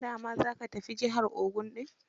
Da wa za ka tafi jihar Ogun ɗin?